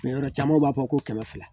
yɔrɔ caman b'a fɔ ko kɛmɛ fila